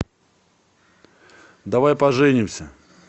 давай поженимся